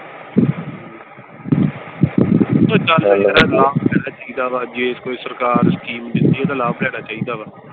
ਚਾਹੀਦਾ ਵਾ ਜੇ ਕੋਈ ਸਰਕਾਰ scheme ਦੇਂਦੀ ਓਹਦਾ ਲਾਭ ਲੈਣਾ ਚਾਹੀਦਾ ਵਾ।